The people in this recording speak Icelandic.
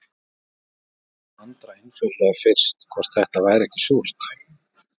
Við spurðum Andra einfaldlega fyrst hvort þetta væri ekki súrt?